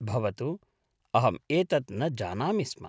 भवतु अहं एतत् न जानामि स्म।